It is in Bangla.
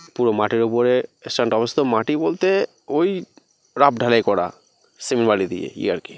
পুরো মাঠের উপরে স্থানটা মাটি বলতে ওই রাফ ঢালাই করা সিমেন্ট বালি দিয়ে ই আর কি।